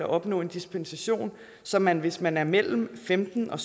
opnå dispensation så man hvis man er mellem femten og